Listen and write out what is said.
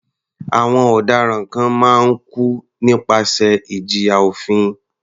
Àwọn ọ̀daràn kan máa ń kú nípasẹ̀ ìjìyà òfin.